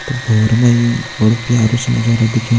त भोर मा यु बड़ु प्यारु सु नजारा दिखे --